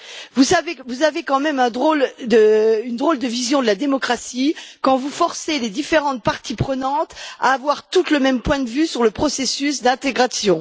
Vous avez quand même une drôle de vision de la démocratie quand vous forcez les différentes parties prenantes à avoir toutes le même point de vue sur le processus d'intégration.